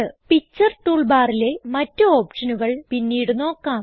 picture tool ബാറിലെ മറ്റ് ഓപ്ഷനുകൾ പിന്നീട് നോക്കാം